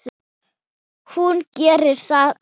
Hún gerir það ekki.